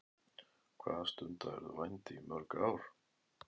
Hvað stundaðirðu vændi í mörg ár?